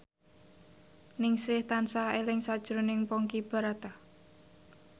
Ningsih tansah eling sakjroning Ponky Brata